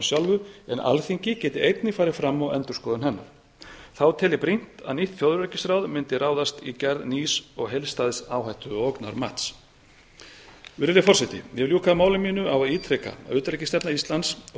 sjálfum en alþingi geti einnig farið fram á endurskoðun hennar þá tel ég brýnt að nýtt þjóðaröryggisráðs mundi ráðast í gerð nýs og heildstæðs áhættu og ógnarmats virðulegi forseti ég vil ljúka máli mínu á að ítreka að utanríkisstefna íslands og